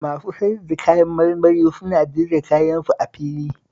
Masu sayar da kayan marmari suna jera kayansu a fili